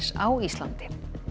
á Íslandi